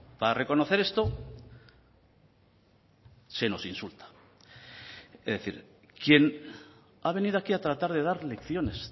para reconocer esto se nos insulta es decir quien ha venido aquí a tratar de dar lecciones